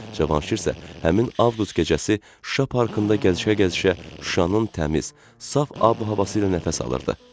Cavanşir isə həmin avqust gecəsi Şuşa parkında gəzişə-gəzişə Şuşanın təmiz, saf ab-havası ilə nəfəs alırdı.